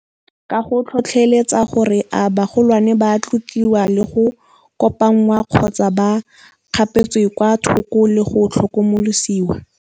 Ka go tlhotlheletsa gore a bagolwane ba tlotliwa le go kopangwa kgotsa ba kgapetswe kwa thoko le go tlhokomolosiwa.